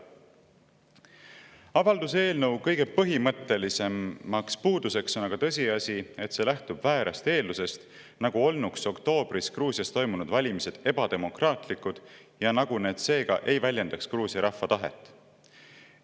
Avalduse eelnõu kõige põhimõttelisem puudus on aga tõsiasi, et see lähtub väärast eeldusest, nagu olnuks oktoobris Gruusias toimunud valimised ebademokraatlikud ja nagu need seega ei väljendaks Gruusia rahva tahet.